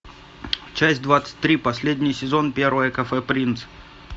часть двадцать три последний сезон первое кафе принц